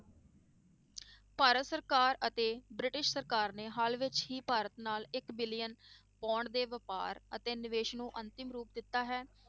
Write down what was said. ਭਾਰਤ ਸਰਕਾਰ ਅਤੇ ਬ੍ਰਿਟਿਸ਼ ਸਰਕਾਰ ਨੇ ਹਾਲ ਵਿੱਚ ਹੀ ਭਾਰਤ ਨਾਲ ਇੱਕ billion pound ਦੇ ਵਾਪਾਰ ਅਤੇ ਨਿਵੇਸ ਨੂੰ ਅੰਤਮ ਰੂਪ ਦਿੱਤਾ ਹੈ,